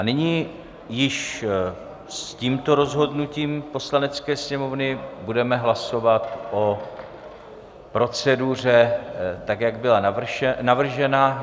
A nyní již s tímto rozhodnutím Poslanecké sněmovny budeme hlasovat o proceduře tak, jak byla navržena.